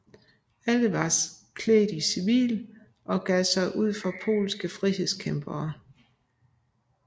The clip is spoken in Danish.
Alle var klædt i civil og gav sig ud for polske frihedskæmpere